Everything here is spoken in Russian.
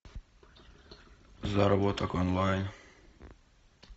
заработок онлайн